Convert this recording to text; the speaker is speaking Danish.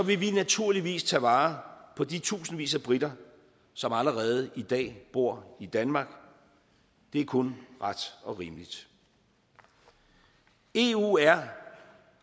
vi naturligvis tage vare på de tusindvis af briter som allerede i dag bor i danmark det er kun ret og rimeligt eu er